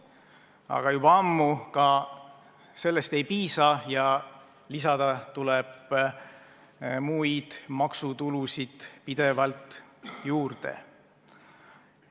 Aga juba ammu ka sellest ei piisa ja lisada tuleb muid maksutulusid pidevalt juurde.